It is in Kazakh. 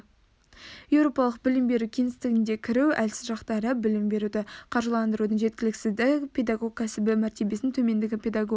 еуропалық білім беру кеңістігіне кіру әлсіз жақтары білім беруді қаржыландырудың жеткіліксіздігі педагог кәсібі мәртебесінің төмендігі педагог